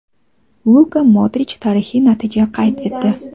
Luka Modrich tarixiy natija qayd etdi.